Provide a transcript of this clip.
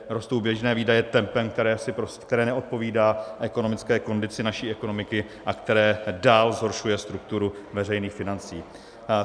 Rostou běžné výdaje tempem, které neodpovídá ekonomické kondici naší ekonomiky a které dál zhoršuje strukturu veřejných financí.